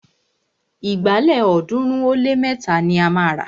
Ìgbálẹ̀ ọ̀ọ́dúnrún ó lé mẹ́ta ni a máa rà